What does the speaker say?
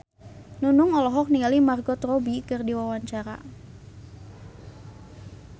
Nunung olohok ningali Margot Robbie keur diwawancara